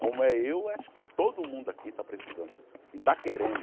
Como é eu, acho que todo mundo aqui está precisando e está querendo.